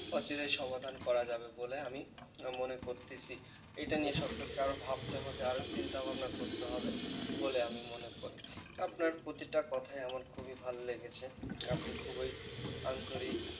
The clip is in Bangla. অচিরেই সমাধান করা যাবে বলে আমি মনে করছি এটা নিয়ে সরকারকে আরও ভাবতে হবে আরও চিন্তাভাবনা করতে হবে বলে আমি মনে করি আপনার প্রতিটা কথায় আমার খুবই ভালো লেগেছে আপনি খুবই আন্তরিক